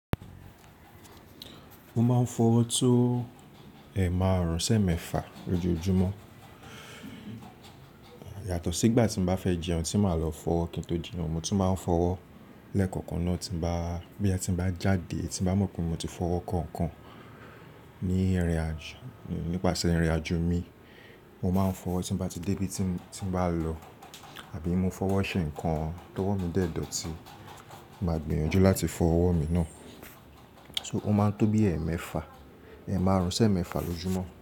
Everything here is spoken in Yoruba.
Mo máa ń fọwọ́ tó ẹ̀maarun sẹ̀ ẹ̀mẹ́fà lójoojúmọ́. Yàtọ̀ sí ìgbà tí mo bá fẹ́ jẹun tí màá lọ fọwọ́ kí n tó jẹun, mo tún máa ń fọwọ́ lẹ́kọ̀ọ̀kan náà tí bá, bóyá tí bá jáde, tí bá mọ̀ pé mo ti fọwọ́ kọ̀ọ̀kan ní ìrìnàjò, nípasẹ̀ ìrìnàjò mi, mo máa ń fọwọ́ tí bá ti dé ibi tí, tí bá lọ, àbí mo fọwọ́ ṣe nǹkan tó wọ̀ mí dẹ̀dọ̀ tí màá gbìyànjú láti fọwọ́ mi náà. So ó máa ń tó bí ẹ̀ mẹ́fà, ẹ̀maarun sẹ̀ mẹ́fà lójúmọ́.